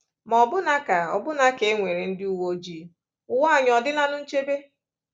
Ma ọbụna ka ọbụna ka e nwere ndị uwe ojii, ụwa anyị ọ̀ dịlanụ nchebe?